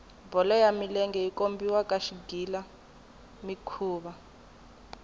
bolo ya milenge yi kombiwa ka xigila mikhuva